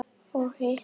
Og hitt?